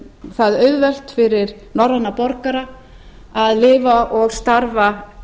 það auðvelt fyrir norræna borgara að lifa og starfa